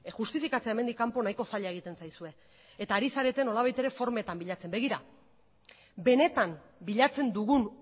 justifikatzea hemendik kanpo nahiko zaila egiten zaizue eta ari zarete nolabait ere formetan bilatzen benetan bilatzen dugun